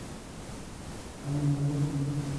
Omin imbu